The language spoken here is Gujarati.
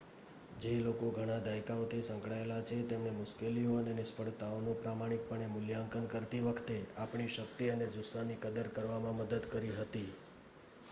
જે લોકો ઘણા દાયકાઓથી સંકળાયેલા છે તેમણે મુશ્કેલીઓ અને નિષ્ફળતાઓનું પ્રમાણિકપણે મૂલ્યાંકન કરતી વખતે આપણી શક્તિ અને જુસ્સાની કદર કરવામાં મદદ કરી હતી